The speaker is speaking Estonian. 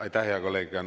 Aitäh, hea kolleeg!